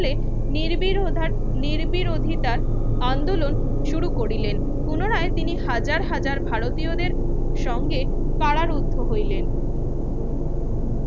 হলে নিরবির উধার নিরবিধির অধিতার আন্দোলন শুরু করিলেন পুনরায় তিনি হাজার হাজার ভারতীয়দের সঙ্গে কারারুদ্ধ হইলেন